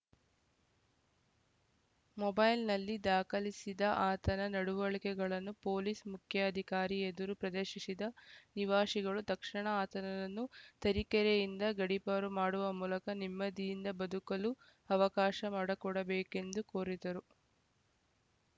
ಮೊಬೈಲ್‌ನಲ್ಲಿ ದಾಖಲಿಸಿದ ಆತನ ನಡವಳಿಕೆಗಳನ್ನು ಪೊಲೀಸ್‌ ಮುಖ್ಯಾಧಿಕಾರಿ ಎದುರು ಪ್ರದರ್ಶಿಶಿದ ನಿವಾಸಿಗಳು ತಕ್ಷಣ ಆತನನ್ನು ತರೀಕೆರೆಯಿಂದ ಗಡಿಪಾರು ಮಾಡುವ ಮೂಲಕ ನೆಮ್ಮದಿಯಿಂದ ಬದುಕಲು ಅವಕಾಶ ಮಾಡಕೊಡಬೇಕೆಂದು ಕೋರಿದರು